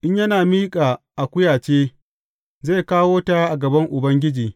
In yana miƙa akuya ce, zai kawo ta a gaban Ubangiji.